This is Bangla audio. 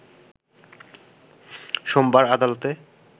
সোমবার আদালতে